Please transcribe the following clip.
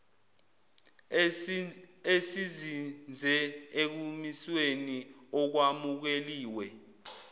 esizinze ekumisweni okwamukeliwe